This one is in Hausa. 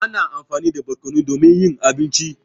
Ana amfani da barƙonu domin yin abinci.